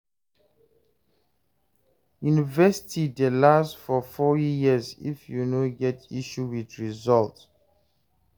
University dey last for four years if you no get issue with resullt